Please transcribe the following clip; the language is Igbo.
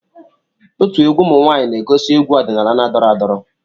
Otu egwu ụmụ nwaanyịna-egosi egwu ọdịnala na-adọrọ adọrọ.